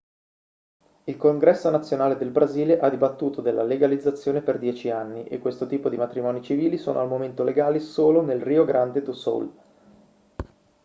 il congresso nazionale del brasile ha dibattuto della legalizzazione per 10 anni e questo tipo di matrimoni civili sono al momento legali solo nel rio grande do sul